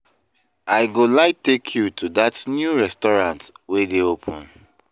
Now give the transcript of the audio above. I go like take you to that new restaurant wey dey open.